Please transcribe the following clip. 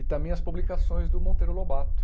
E também as publicações do Monteiro Lobato.